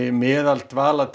meðal